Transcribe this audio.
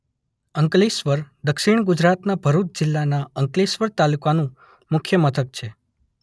અંકલેશ્વર દક્ષિણ ગુજરાતના ભરૂચ જિલ્લાના અંકલેશ્વર તાલુકાનું મુખ્ય મથક છે